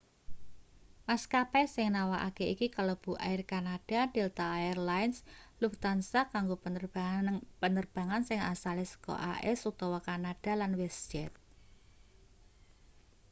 maskapai sing nawakake iki kalebu air canada delta air lines lufthansa kanggo penerbangan sing asale saka as utawa kanada lan westjet